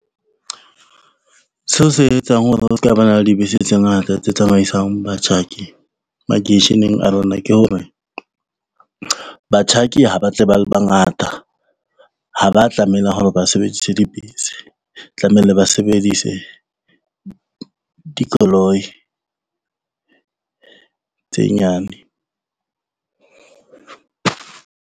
Seo se etsang hore ho ska ba na le dibese tse ngata tse tsamaisang batjhaki makeisheneng a rona ke hore, batjhaki ha ba tle ba le bangata ha ba tlamehileng hore ba sebedise dibese, tlamehile ba sebedise dikoloi tse nyane.